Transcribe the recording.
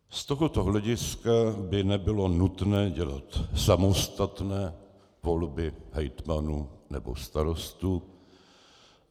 Z tohoto hlediska by nebylo nutné dělat samostatné volby hejtmanů nebo starostů.